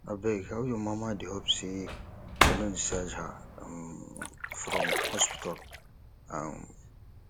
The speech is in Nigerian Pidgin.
abeg how your mama dey hope sey dem don discharge her um from hospital um